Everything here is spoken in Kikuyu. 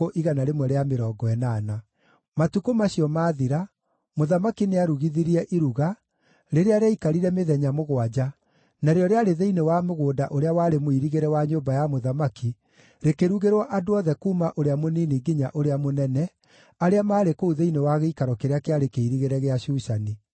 Matukũ macio maathira, mũthamaki nĩarugithirie iruga, rĩrĩa rĩaikarire mĩthenya mũgwanja, narĩo rĩarĩ thĩinĩ wa mũgũnda ũrĩa warĩ mũirigĩre wa nyũmba ya mũthamaki, rĩkĩrugĩrwo andũ othe kuuma ũrĩa mũnini nginya ũrĩa mũnene, arĩa maarĩ kũu thĩinĩ wa gĩikaro kĩrĩa kĩarĩ kĩirigĩre gĩa Shushani.